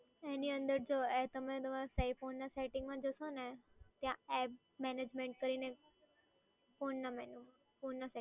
એની અંદર તમે તમારા phone ના setting માં જશો ને ત્યાં app management કરીને એક phone ના menu માં phone ના